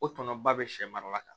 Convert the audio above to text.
O tɔnɔ ba bɛ sɛ mara ka